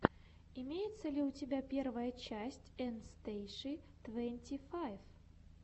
имеется ли у тебя первая часть эн стейши твенти файв